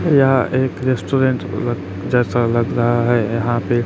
यह एक रेस्टोरेंट लग जैसा लग रहा है यहां पे--